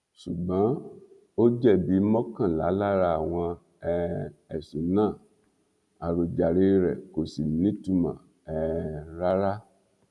ṣùgbọn ó jẹbi mọkànlá lára àwọn um ẹsùn náà àròjàre rẹ kò sì nítumọ um rárá